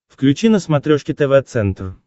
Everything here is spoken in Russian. включи на смотрешке тв центр